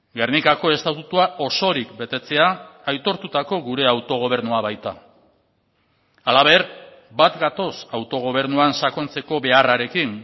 gernikako estatutua osorik betetzea aitortutako gure autogobernua baita halaber bat gatoz autogobernuan sakontzeko beharrarekin